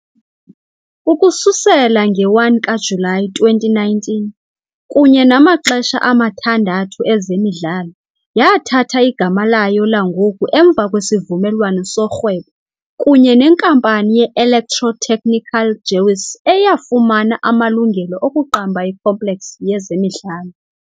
Ukususela nge-1 kaJulayi 2019 kunye namaxesha amathandathu ezemidlalo yathatha igama layo langoku emva kwesivumelwano sorhwebo kunye nenkampani ye-electrotechnical Gewiss eyafumana amalungelo okuqamba i-complex yezemidlalo.